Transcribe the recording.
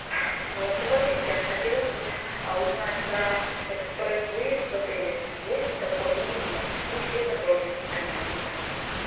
голосовой ассистент хотелось бы узнать про экспресс выезд в отеле есть ли такой или нет и все подробности конечно же